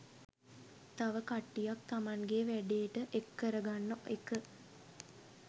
තව කට්ටියක් තමන්ගෙ වැඩේට එක් කරගන්න එක